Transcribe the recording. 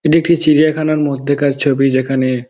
এটি একটি চিড়িয়াখানার মধ্যেকার ছবি যেখানে --